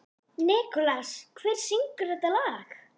Nikolas, hver syngur þetta lag?